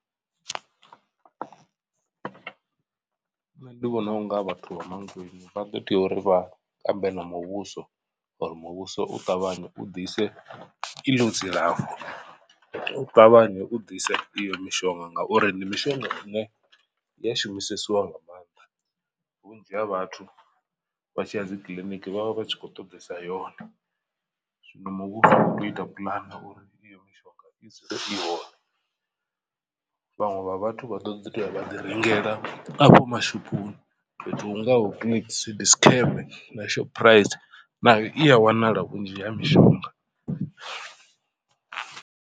Nṋe ndi vhona unga vhathu Vha Mankweng vha ḓo tea uri vha ambe na muvhuso uri muvhuso u ṱavhanye u ḓise iḽo dzilafho. U ṱavhanye u ḓise iyo mishonga ngauri ndi mishonga ine ya shumisesiwa nga maanḓa vhunzhi ha vhathu vha tshiya dzi kiḽiniki vhavha vha tshi khou ṱoḓesa yone. Zwino muvhuso u tea u ita puḽane uri iyo mishonga i dzule i hone vhaṅwe vha vhathu vha ḓo ḓi toya vha ḓi rengela afho mashophoni fhethu hungaho Clicks, Dischem na Shoprite nayo i a wanala vhunzhi ha mishonga.